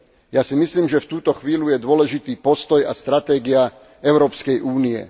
Ja si myslím, že v túto chvíľu je dôležitý postoj a stratégia Európskej únie.